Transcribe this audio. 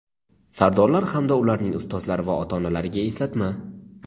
sardorlar hamda ularning ustozlari va ota-onalariga eslatma.